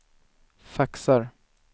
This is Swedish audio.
faxar